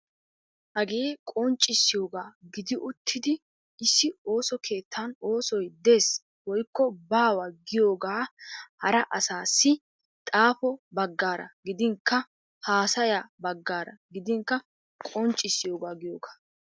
Hagee qonccissiyoogaa gidi uttidi issi ooso kettaan oosoy deesi woikko baawa giyoogaa haraa asaassi xaafo bagaara gidinkka haasaya bagaara gidinkka qonccssiyoogaa giyoogaa.